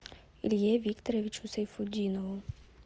илье викторовичу сайфутдинову